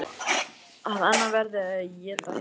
Að annað verði að éta hitt.